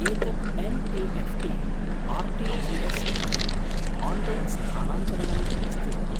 एतत् N E F T, R T G S अथवा online स्थानान्तरणम् अस्ति वा?